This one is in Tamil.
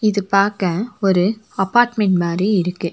இது பாக்க ஒரு அப்பார்ட்மெண்ட் மாரி இருக்கு.